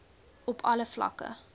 op alle vlakke